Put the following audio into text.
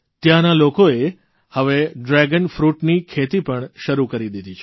ત્યાંના લોકોએ હવે ડ્રેગન ફ્રૂટની ખેતી પણ શરૂ કરી દીધી છે